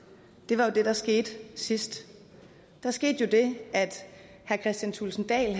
var det der skete sidst der skete jo det at herre kristian thulesen dahl